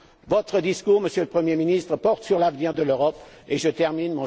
Votre discours, Monsieur le Premier ministre, porte sur l'avenir de l'Europe j'en termine...